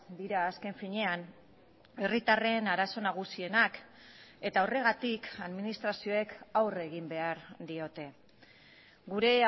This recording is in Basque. dira azken finean herritarren arazo nagusienak eta horregatik administrazioek aurre egin behar diote gure